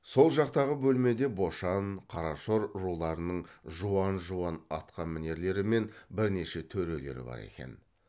сол жақтағы бөлмеде бошан қарашор руларының жуан жуан атқамінерлері мен бірнеше төрелері бар екен